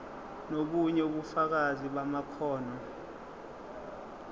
nobunye ubufakazi bamakhono